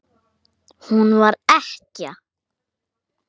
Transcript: Sjá hér síðar.